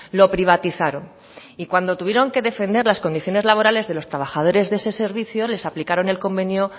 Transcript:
lo privatizaron y cuando tuvieron que defender las condiciones laborales de los trabajadores de ese servicio les aplicaron el convenio